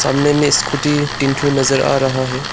सामने में स्कूटी तीन ठो नजर आ रहा है।